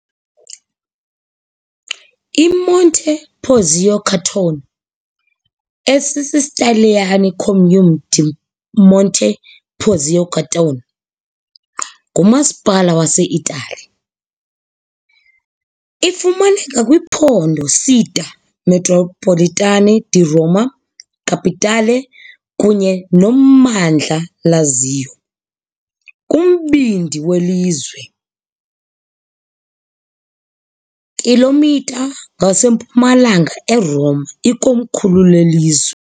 IMonte Porzio Catone, esisiTaliyane - Comune di Monte Porzio Catone, ngumasipala waseItali. Ifumaneka kwiphondo Città metropolitana di Roma Capitale kunye nommandla Lazio, kumbindi welizwe, kilometer ngasempumalanga eRoma, ikomkhulu lelizwe.